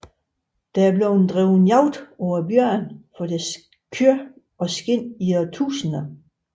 Der er blevet drevet jagt på bjørnene for deres kød og skind i århundreder